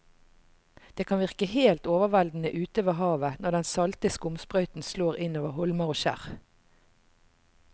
Det kan virke helt overveldende ute ved havet når den salte skumsprøyten slår innover holmer og skjær.